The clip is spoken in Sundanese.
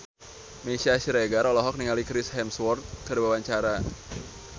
Meisya Siregar olohok ningali Chris Hemsworth keur diwawancara